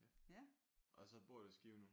Ja og så bor i Skive nu?